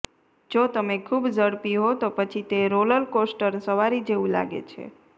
જો તમે ખૂબ ઝડપી હો તો પછી તે રોલરકોસ્ટર સવારી જેવું લાગે છે